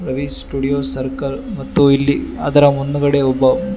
Ravi studio circle ಮತ್ತು ಇಲ್ಲಿ ಅದರ ಮುಂದುಗಡೆ ಒಬ್ಬ--